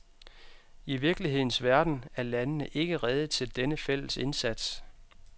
I virkelighedens verden er landene ikke rede til denne fælles indsats.